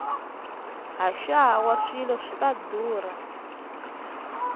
haxawa swilo swi ta ndhurha